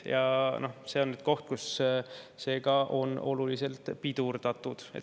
Ja seda on nüüd oluliselt pidurdatud.